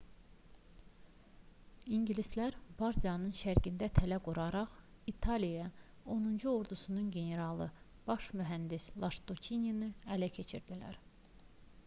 i̇ngilislər bardianın şərqində tələ quraraq i̇taliya 10-cu ordusunun generalı baş mühəndis lastuççini ələ keçirdilər